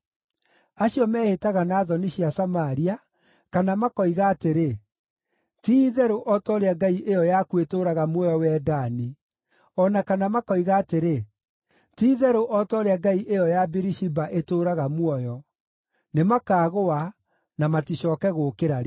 Acio mehĩtaga na thoni cia Samaria, kana makoiga atĩrĩ, ‘Ti-itherũ o ta ũrĩa ngai ĩyo yaku ĩtũũraga muoyo wee Dani’, o na kana makoiga atĩrĩ, ‘Ti-itherũ o ta ũrĩa ngai ĩyo ya Birishiba itũũraga muoyo’: nĩmakaagũa, na maticooke gũũkĩra rĩngĩ.”